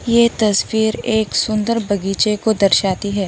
ये तस्वीर एक सुंदर बगीचे को दर्शाती है।